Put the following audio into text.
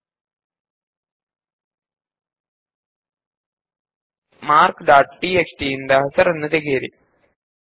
ನಾವು ಈಗ marks dot TXT ನಿಂದ ಹೆಸರುಗಳನ್ನು ತೆಗೆದು ಹಾಕೋಣ